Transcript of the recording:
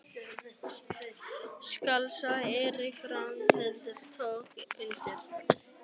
Skál sagði Eiríkur og Ragnhildur tók undir.